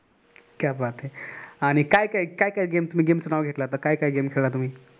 क्या बात है आणि काय काय game च नाव घेतल आता काय काय game खेळला.